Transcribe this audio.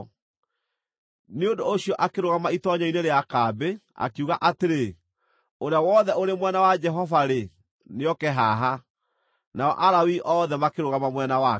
Nĩ ũndũ ũcio akĩrũgama itoonyero-inĩ rĩa kambĩ, akiuga atĩrĩ, “Ũrĩa wothe ũrĩ mwena wa Jehova-rĩ, nĩoke haha.” Nao Alawii othe makĩrũgama mwena wake.